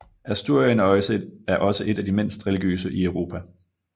Asturien er også et af de mindst religiøse i Europa